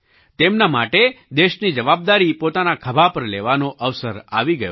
તેમના માટે દેશની જવાબદારી પોતાના ખભા પર લેવાનો અવસર આવી ગયો છે